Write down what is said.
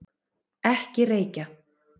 Ekki reykja!